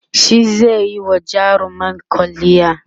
shi zaiyi wa jarumar kwalliya